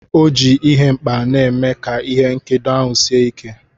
O ji ihe nkpa na-eme ka ihe nkedo ahụ sie ike.